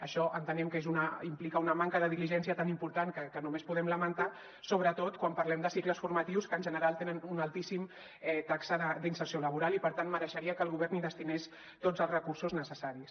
això entenem que implica una manca de diligència tan important que només podem lamentar sobretot quan parlem de cicles formatius que en general tenen una altíssima taxa d’inserció laboral i per tant mereixeria que el govern hi destinés tots els recursos necessaris